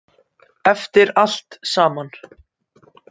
Eftir allt saman.